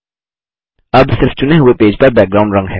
अब सिर्फ़ चुने हुए पेज को पर बैकग्राउंड रंग है